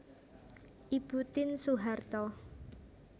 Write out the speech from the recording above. Ibu Tien Soeharto